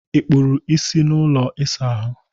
ị kpụrụ isi n'ụlọ ịsa ahụ?